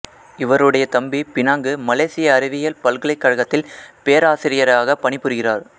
இவருடைய தம்பி பினாங்கு மலேசிய அறிவியல் பல்கலைக்கழகத்தில் பேராசியராகப் பணிபுரிகிறார்